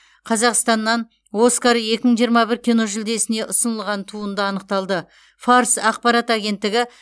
қазақстаннан оскар екі мың жиырма бір киножүлдесіне ұсынылған туынды анықталды фарс ақпарат агенттігі